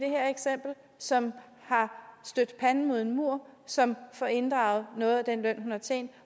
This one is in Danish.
som har stødt panden mod en mur og som får inddraget noget af den løn hun har tjent